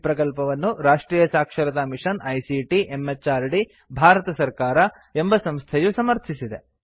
ಈ ಪ್ರಕಲ್ಪವನ್ನು ರಾಷ್ಟ್ರಿಯ ಸಾಕ್ಷರತಾ ಮಿಷನ್ ಐಸಿಟಿ ಎಂಎಚಆರ್ಡಿ ಭಾರತ ಸರ್ಕಾರ ಎಂಬ ಸಂಸ್ಥೆಯು ಸಮರ್ಥಿಸಿದೆ